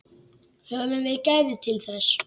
Höfum við gæðin til þess?